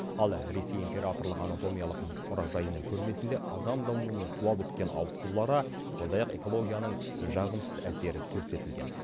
ал ресей императорлық анатомиялық мұражайының көрмесінде адам дамуының туа біткен ауытқулары сондай ақ экологияның жағымсыз әсері көрсетілген